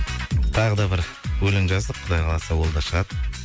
тағы да бір өлең жаздық құдай қаласа ол да шығады